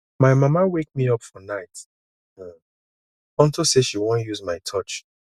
my mama wake me up fir night um unto say she wan use my torch